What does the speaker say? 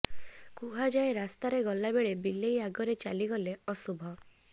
କୁହାଯାଏ ରାସ୍ତାରେ ଗଲା ବେଳେ ବିଲେଇ ଆଗରେ ଚାଲିଗଲେ ଅଶୁଭ